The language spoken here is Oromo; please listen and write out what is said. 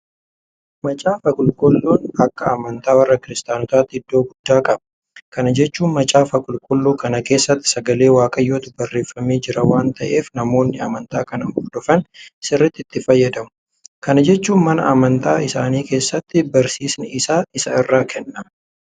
Macaafa qulqulluun akka amantaa warra kiristaanotaatti iddoo guddaa qaba. Kana jechuun macaafa qulqulluu kana keessatti sagalee Waaqayyootu barreeffamee jira waanta ta'eef namoonni amantaa kana hordofan sirriitti itti fayyadamu. Kana jechuun mana amantaa isaanii keessattis barsiisni isa irraa kennama.